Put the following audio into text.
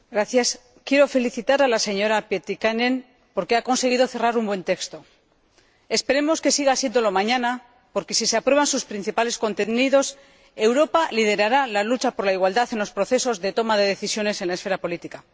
Señora Presidenta, quiero felicitar a la señora Pietikäinen porque ha conseguido concluir un buen texto. Esperemos que siga siéndolo mañana porque, si se aprueban sus principales contenidos, Europa liderará la lucha por la igualdad en los procesos de toma de decisiones en la esfera política.